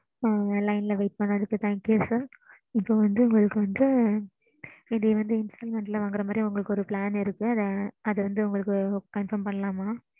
ம்ம் சொல்லுங்க mam